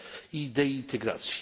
i idei integracji.